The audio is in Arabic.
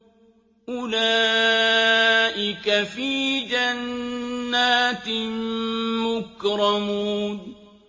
أُولَٰئِكَ فِي جَنَّاتٍ مُّكْرَمُونَ